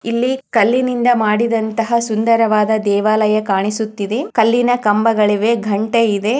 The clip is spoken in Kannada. ಇಲ್ಲಿ ಕಲ್ಲಿನಿಂದ್ ಮಾಡಿದಂತಹ ಸುಂದರವಾದ ದೇವಾಲಯ ಕಾಣಿಸುತ್ತಿದೆ ಕಲ್ಲಿನ ಕಂಬಗಳಿವೆ